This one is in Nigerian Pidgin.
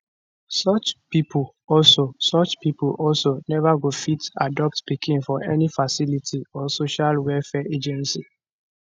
such pipo also pipo also neva go fit adopt pikin for any facility or social welfare agency